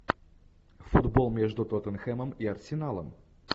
футбол между тоттенхэмом и арсеналом